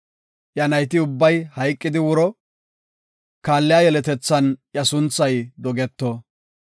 Iya nayti ubbay hayqidi wuro; kaalliya yeletethan iya sunthay dogeto.